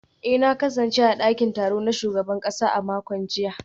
eh na kasance a dakin taro na shugaban kasa a makon jiya